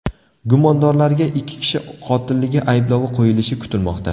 Gumondorlarga ikki kishi qotilligi ayblovi qo‘yilishi kutilmoqda.